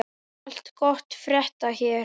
Allt gott að frétta hér.